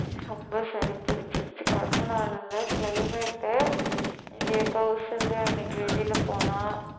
ரொம்ப சளி பிடிச்சிருச்சு கரும்புனால இல்லை climate உ இங்கே கௌசல்யா இன்னைக்கு வெளியில போனா